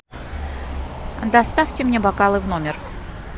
доставьте мне бокалы в номер